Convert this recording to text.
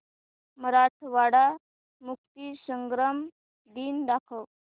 मराठवाडा मुक्तीसंग्राम दिन दाखव